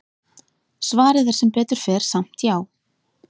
Svarið er sem betur fer samt já!